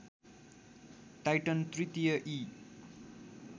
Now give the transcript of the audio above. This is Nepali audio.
टाइटन तृतीय ई